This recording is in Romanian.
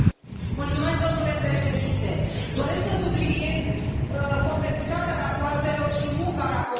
Domnule președinte, doresc să subliniez complexitatea rapoartelor și munca raportorilor.